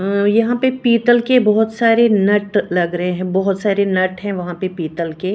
अ यहां पे पीतल के बहोत सारे नट लग रहे हैं बहोत सारे नट हैं वहां पे पीतल के।